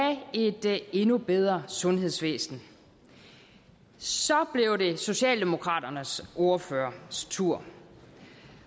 et endnu bedre sundhedsvæsen så blev det socialdemokraternes ordførers tur